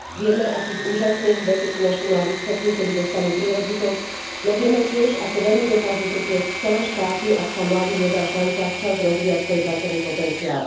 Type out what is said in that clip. Vieme, akých úžasných vecí sú naši mladí schopní, keď dostanú príležitosť, no vieme tiež, ako veľmi dokážu trpieť cele štáty, ak sa mladým nedá šanca včas rozvíjať svoj pracovný potenciál.